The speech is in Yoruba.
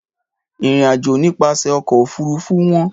Ìrìnàjò nípasẹ̀ ọkọ̀-òfurufú wọ́n.